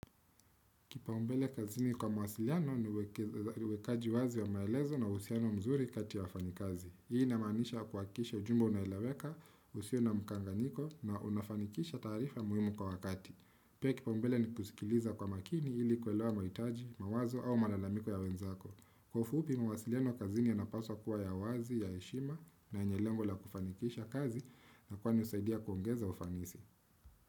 Kipau mbele kazini kwa mawasiliano ni uwekaji wazi wa maelezo na uhusiano mzuri kati wafanyikazi. Hii inamanisha kwa kisha ujumbe unaeleweka, usio na mkanganyiko na unafanikisha taarifa muhimu kwa wakati. Pia kipau mbele ni kusikiliza kwa makini ili kwelewa mahitaji, mawazo au malalamiko ya wenzako. Kwa ufupi mawasiliano kazini yanapaswa kuwa ya wazi, ya heshima na yenye lengo la kufanikisha kazi na kwani husaidia kuongeza ufanisi.